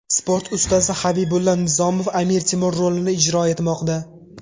Sport ustasi Habibulla Nizomov Amir Temur rolini ijro etmoqda.